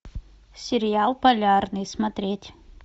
сериал полярный смотреть